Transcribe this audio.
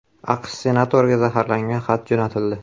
AQSh senatoriga zaharlangan xat jo‘natildi.